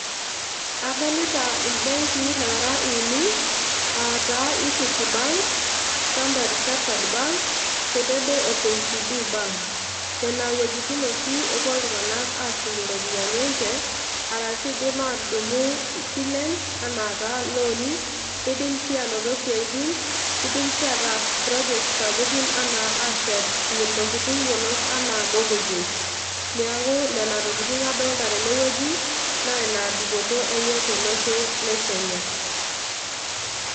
Adolita ibenki nara uni, ata equity bank, standard chartad bank, tenebo o kcb bank, nena iweujitin oshi epuo iltungana ashumie iropiani enche, arashu indim atundum isilen, ena taa loni nindim si anoto siaitin, nindim si ataas project sapukin, ena ashet ntokitin yiolot ena morgages, niaku nena tokitin adolta teneweuji, na ina dupoto enye tolosho lekenya.